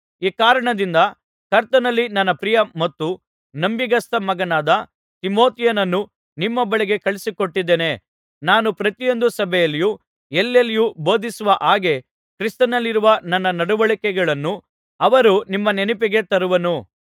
ಈ ಕಾರಣದಿಂದ ಕರ್ತನಲ್ಲಿ ನನ್ನ ಪ್ರಿಯ ಮತ್ತು ನಂಬಿಗಸ್ತ ಮಗನಾದ ತಿಮೊಥೆಯನನ್ನು ನಿಮ್ಮ ಬಳಿಗೆ ಕಳುಹಿಸಿಕೊಟ್ಟಿದ್ದೇನೆ ನಾನು ಪ್ರತಿಯೊಂದು ಸಭೆಗಳಲ್ಲಿಯೂ ಎಲ್ಲೆಲ್ಲಿಯೂ ಬೋಧಿಸುವ ಹಾಗೆ ಕ್ರಿಸ್ತನಲ್ಲಿರುವ ನನ್ನ ನಡವಳಿಕೆಗಳನ್ನು ಅವನು ನಿಮ್ಮ ನೆನಪಿಗೆ ತರುವನು